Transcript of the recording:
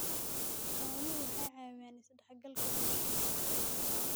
Xooluhu waxay caawiyaan is-dhexgalka bulshada.